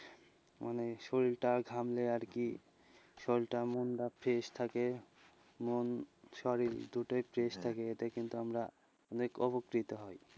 মানে শরীরটা ঘামলে আরকি, শরীরটা মনটা fresh থাকে, মন শরীর দুটোই fresh থাকে এতে কিন্তু আমরা অনেক উপকৃত হই,